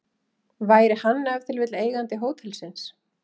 Væri hann ef til vill eigandi hótelsins?